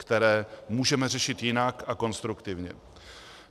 Které můžeme řešit jinak a konstruktivně.